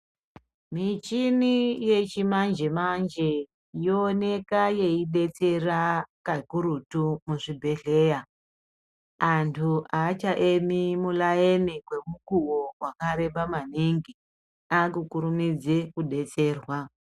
Michini yechimanje manje, yowoneka yeyidetsera kakurutu kuzvibhedhleya. Antu achaemi mulayini mukuwo wakareba maningi. Akukurumidze kudetserwa.